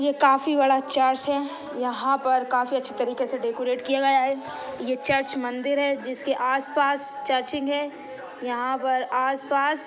ये काफी बड़ा चर्च है यहाँ पर काफी अच्छी तरीके से डेकोरेट किया गया है ये चर्च मंदिर है जिसके आसपास चर्चिंग है। यहाँ पर आसपास--